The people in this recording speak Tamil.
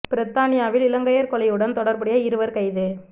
பிரித்தானியாவில் இலங்கையர் கொலையுடன் தொடர்புடைய இருவர் கைது